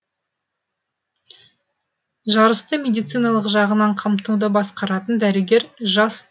жарысты медициналық жағынан қамтуды басқаратын дәрігер жас